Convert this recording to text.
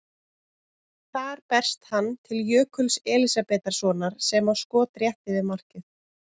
Þar berst hann til Jökuls Elísabetarsonar sem á skot rétt yfir markið.